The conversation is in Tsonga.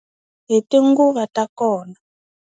Hi tinguva ta kona.